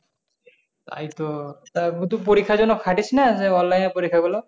তাই তো তা তুই পরিক্ষার জন্য খাটিস না? যে online এর পরিক্ষাগুলো?